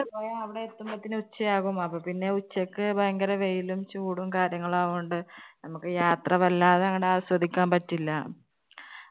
പിന്നെ അവിടെ എന്തുപോഴത്തേന് ഉച്ചയാകും. അപ്പൊ പിന്നെ ഉച്ചയ്ക്ക് ഭയങ്കര വെയിലും ചൂടും കാര്യങ്ങൾ ആയതുകൊണ്ട് നമുക്ക് യാത്ര വല്ലാതെ അങ്ങോട്ട് ആസ്വദിക്കാൻ പറ്റില്ല.